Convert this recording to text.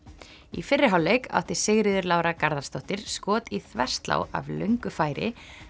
í fyrri hálfleik átti Sigríður Lára Garðarsdóttir skot í þverslá af löngu færi